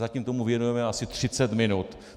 Zatím tomu věnujeme asi 30 minut.